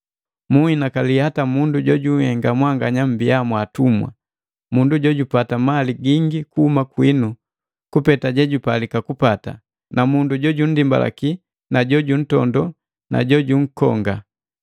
Munhinakali hata mundu jojuhenga mwanganya mwa atumwa, mundu jojupata mali gingi kuhuma kwinu kupeta yejupalika kupata, na mundu jojundimbalaki na jojuntondo na jojunkonga.